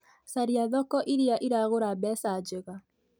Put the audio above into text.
Caria thoko iria iragũra mbeca njega